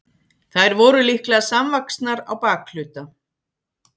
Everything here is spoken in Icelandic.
þær voru líklega samvaxnar á bakhluta